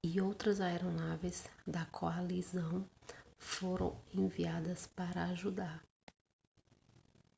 e outras aeronaves da coalizão foram enviadas para ajudar